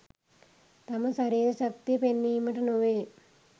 තම ශරීර ශක්තිය පෙන්වීමට නොවේ.